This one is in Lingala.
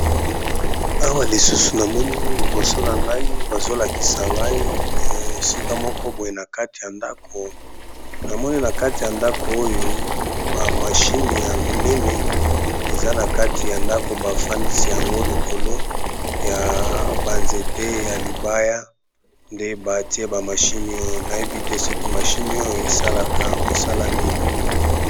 Awa namoni balakisi biso lisusu eza nakati yandako nakati yandako oyo namoni bama chine ebele penza eza nakati yandako oyo namoni bama chine batiye yango likolo ya mabaya